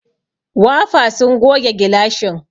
Wafa sun goge gilashin.